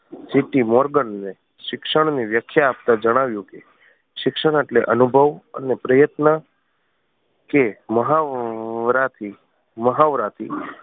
CT Morgan ને શિક્ષણ ની વ્યાખ્યા આપતા જણાવ્યું કે શિક્ષણ એટલે અનુભવ અને પ્રયત્ન કે મહાવરા થી મહાવરા થી